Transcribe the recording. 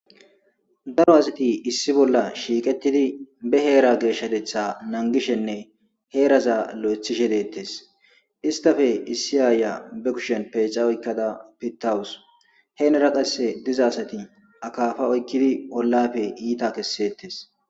Daro azati issi bolla shiiqettidi be heera geeshshatetha nanggishenne heeraza lo7ethishe deettes. istafe issi aaya be kushen peeca oykkada pittawus heenera qasse diza asati akaafa oykkidi ollafe iita kessettes.